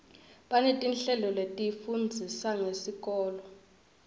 banetinhlelo letifundzisa ngesikolo